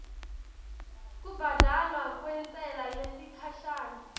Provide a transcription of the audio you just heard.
kubhadalwa kwentsela yesikhashana